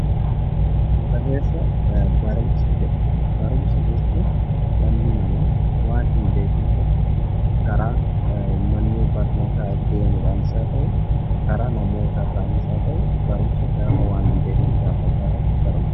Mata-dureen isaa 'barumsa' jedha. Barumsa jechuun dhalli namaa waan hin beekne tokko karaa manneen barnootaa deemuudhaanis haa ta'u, karaa namoota irraanis haa ta'u, barumsa gaafa waan hin beekne gaafa baratu barumsa....